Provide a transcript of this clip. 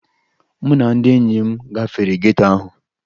Mụ na ndị enyi m gafere geto ahụ